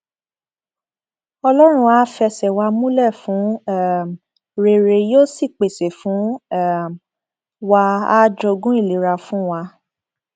ọlọrun àá fẹsẹ wa múlẹ fún um rere yóò sì pèsè fún um wa àá jogún ìlera fún wa